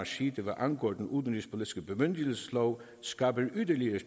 side hvad angår den udenrigspolitiske bemyndigelseslov skaber yderligere